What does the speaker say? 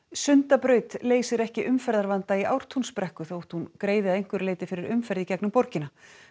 Sundabraut leysir ekki umferðarvanda í Ártúnsbrekku þótt hún greiði að einhverju leyti fyrir umferð í gegnum borgina